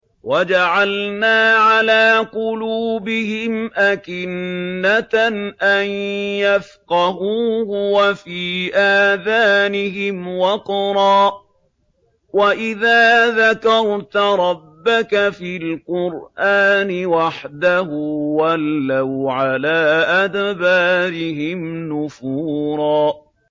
وَجَعَلْنَا عَلَىٰ قُلُوبِهِمْ أَكِنَّةً أَن يَفْقَهُوهُ وَفِي آذَانِهِمْ وَقْرًا ۚ وَإِذَا ذَكَرْتَ رَبَّكَ فِي الْقُرْآنِ وَحْدَهُ وَلَّوْا عَلَىٰ أَدْبَارِهِمْ نُفُورًا